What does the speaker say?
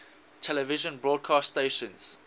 television broadcast stations